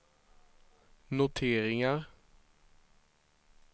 noteringar